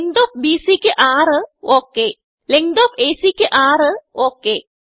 length of BCക്ക് 6ഒക് length of ACക്ക് 6 ഒക്